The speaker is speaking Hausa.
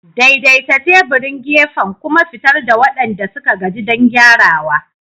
Daidaita teburin gefen kuma fitar da waɗanda suka gaji don gyarawa.